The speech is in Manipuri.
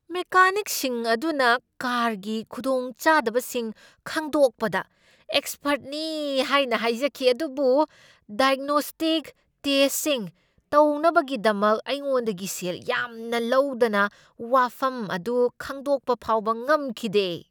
ꯃꯦꯀꯥꯅꯤꯛꯁꯤꯡ ꯑꯗꯨꯅ ꯀꯥꯔꯒꯤ ꯈꯨꯗꯣꯡꯆꯥꯗꯕꯁꯤꯡ ꯈꯪꯗꯣꯛꯄꯗ ꯑꯦꯛꯁꯄꯔꯠꯅꯤ ꯍꯥꯏꯅ ꯍꯥꯏꯖꯈꯤ ꯑꯗꯨꯕꯨ 'ꯗꯥꯏꯒꯅꯣꯁ꯭ꯇꯤꯛ ꯇꯦꯁꯠꯁꯤꯡ" ꯇꯧꯅꯕꯒꯤꯗꯃꯛ ꯑꯩꯉꯣꯟꯗꯒꯤ ꯁꯦꯜ ꯌꯥꯝꯅ ꯂꯧꯗꯅ ꯋꯥꯐꯝ ꯑꯗꯨ ꯈꯪꯗꯣꯛꯄ ꯐꯥꯎꯕ ꯉꯝꯈꯤꯗꯦ ꯫